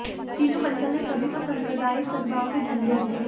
चीनू बंसल ने सभी को सांप्रदायिक सदभाव के झंडे दिए